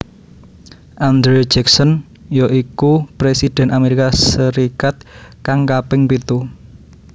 Andrew Jackson ya iku Presiden Amerika Serikat kang kaping pitu